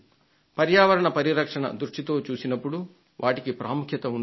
పర్యావరణ పరిరక్షణ దృష్టితో చూసినప్పుడు వాటికి ప్రాముఖ్యం ఉంది